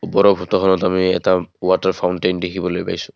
ওপৰৰ ফটোখনত আমি এটা ৱাটাৰ ফাউনতেইন দেখিবলৈ পাইছোঁ।